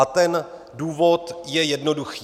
A ten důvod je jednoduchý.